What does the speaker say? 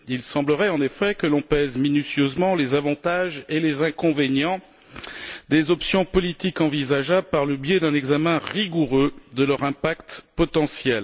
Il semblerait, en effet, que l'on pèse minutieusement les avantages et les inconvénients des options politiques envisageables par un examen rigoureux de leur impact potentiel.